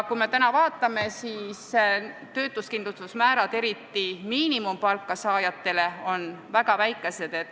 Praegu on töötuskindlustusmäärad, eriti miinimumpalga saajate puhul, väga väikesed.